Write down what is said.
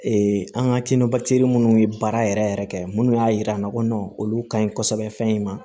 an ka minnu ye baara yɛrɛ yɛrɛ kɛ minnu y'a yira an na ko olu ka ɲi kosɛbɛ fɛn in ma